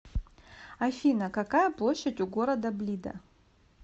афина какая площадь у города блида